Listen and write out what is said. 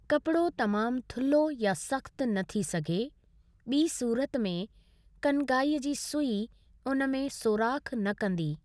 कपिड़ो तमामु थुल्हो या सख़्तु न थी सघे, ॿी सूरत में कनगाई जी सूई उन में सोराख़ न कंदी।